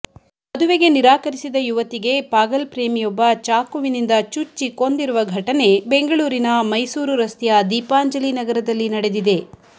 ಮದುವೆಗೆ ನಿರಾಕರಿಸಿದ ಯುವತಿಗೆ ಪಾಗಲ್ ಪ್ರೇಮಿಯೊಬ್ಬ ಚಾಕುವಿನಿಂದ ಚುಚ್ಚಿ ಕೊಂದಿರುವ ಘಟನೆ ಬೆಂಗಳೂರಿನ ಮೈಸೂರು ರಸ್ತೆಯ ದೀಪಾಂಜಲಿನಗರದಲ್ಲಿ ನಡೆದಿದೆ